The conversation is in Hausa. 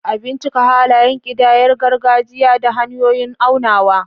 A bincika halayen ƙidayar gargajiya da hanyoyin aunawa.